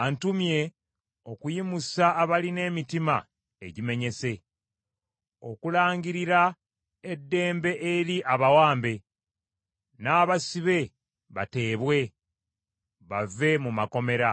antumye okuyimusa abalina emitima egimenyese. Okulangirira eddembe eri abawambe, n’abasibe bateebwe bave mu makomera.